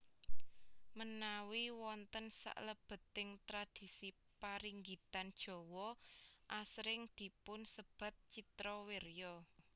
Menawi wonten salebeting tradhisi paringgitan Jawa asring dipun sebat Citrawirya